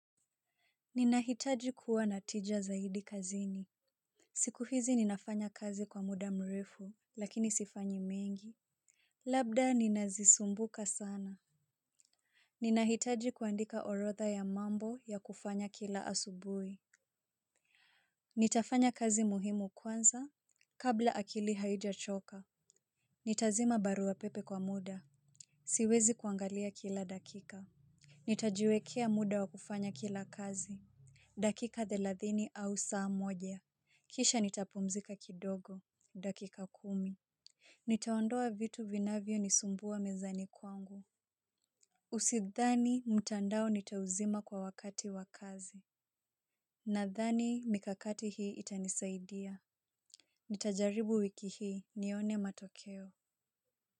Ninahitaji kuwa na tija zaidi kazini. Siku hizi ninafanya kazi kwa muda mrefu lakini sifanyi mingi. Labda ninazisumbuka sana. Ninahitaji kuandika orodha ya mambo ya kufanya kila asubuhi. Nitafanya kazi muhimu kwanza. Kabla akili haijachoka nitazima barua pepe kwa muda. Siwezi kuangalia kila dakika. Nitajiwekea muda wa kufanya kila kazi. Dakika thelathini au saa moja kisha nitapumzika kidogo, dakika kumi. Nitaondoa vitu vinavyo nisumbua mezani kwangu. Usithani mtandao nitauzima kwa wakati wa kazi. Nadhani mikakati hii itanisaidia. Nitajaribu wiki hii nione matokeo.